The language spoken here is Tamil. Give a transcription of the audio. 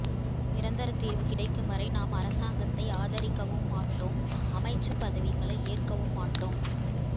நிரந்தர தீர்வு கிடைக்கும் வரை நாம் அரசாங்கத்தை ஆதரிக்கவும் மாட்டோம் அமைச்சுப் பதவிகளை ஏற்கவும் மாட்டோம்